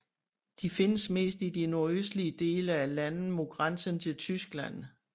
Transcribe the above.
De findes mest i de nordøstlige dele af landet mod grænsen til Tyskland